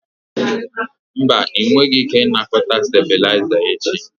Mba, ị nweghị ike ịnakọta stabilizer echi.